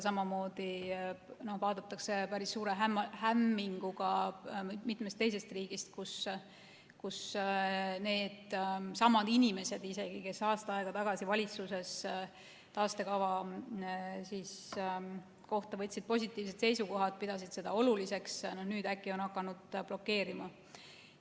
Samuti vaadatakse päris suure hämminguga mitmeski teises riigis seda, kuidas isegi needsamad inimesed, kes meil aasta aega tagasi valitsuses võtsid taastekava suhtes positiivsed seisukohad ja pidasid seda oluliseks, on nüüd äkki hakanud seda blokeerima.